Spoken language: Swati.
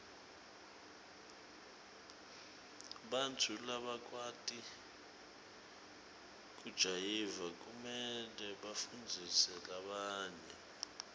bantfu labakwati kujayiva kumele bafundzise labanye